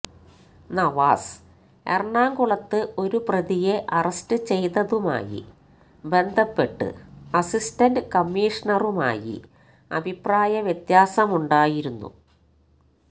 നവാസ് എറണാകുളത്ത് ഒരു പ്രതിയെ അറസ്റ്റ് ചെയ്തതുമായി ബന്ധപ്പെട്ട് അസിസ്റ്റൻ്റ് കമ്മീഷണറുമായി അഭിപ്രായവ്യത്യാസമുണ്ടായിരുന്നു